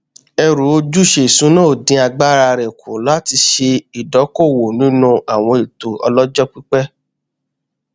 ẹrù ojúṣe ìṣúná ò dín agbára rẹ kù láti ṣe ìdókóòwò nínú àwọn ètò ọlọjọ pípẹ